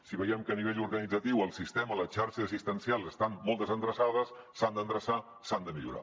si veiem que a nivell organitzatiu el sistema la xarxa assistencial estan molt desendreçats s’han d’endreçar s’han de millorar